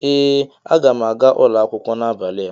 ee aga m aga akwụkwọ n'abalị a